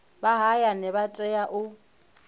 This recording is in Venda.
vha hayani vha tea u